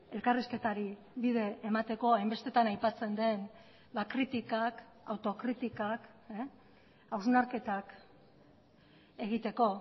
elkarrizketari bide emateko hainbestetan aipatzen den kritikak autokritikak hausnarketak egiteko